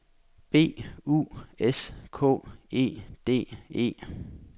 B U S K E D E